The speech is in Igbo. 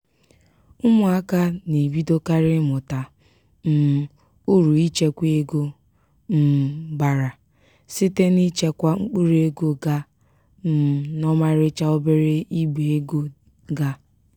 ụmụaka na-ebidokarị ịmụta um uru ichekwa ego um bara site n'ichekwa mkpụrụego ga um n'ọmarịcha obere igbe ego ga.